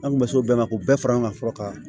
An kun bɛ s'o bɛɛ ma k'o bɛɛ fara ɲɔgɔn kan fɔlɔ ka